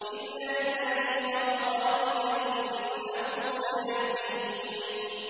إِلَّا الَّذِي فَطَرَنِي فَإِنَّهُ سَيَهْدِينِ